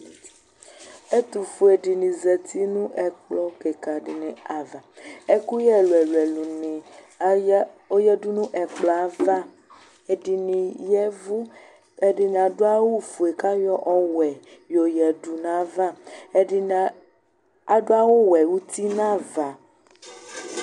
Ɛtufue dini zati nu ɛkplɔ fuele dini ava ɛkuyɛ ɛlu ɛlu dini yadu nu ɛkplɔ yɛ ayava ɛdini yavu ɛdini adu awu ofue ku ayɔ ɔwɛ yoyadu nava adu awu ɔwɛ uti nava